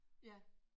Ja